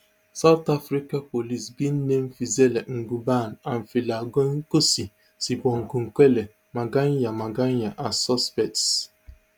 south africa police bin name fezile ngubane and philangenkosi sibongokuhle makhanya makhanya as suspects